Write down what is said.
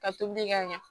Ka tobi ka ɲɛ